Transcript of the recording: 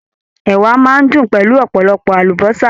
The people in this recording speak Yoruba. Ẹ̀wà máa n dùn pẹ̀lú ọpọlọpọ àlùbọ́sà.